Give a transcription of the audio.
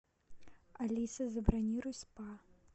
алиса забронируй спа